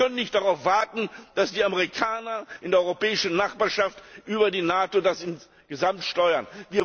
Wir können nicht darauf warten, dass die Amerikaner in der europäischen Nachbarschaft das über die NATO insgesamt steuern.